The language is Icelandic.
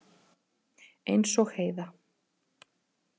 Eins og Heiða.